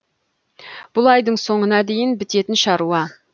бұл айдың соңына дейін бітетін шаруа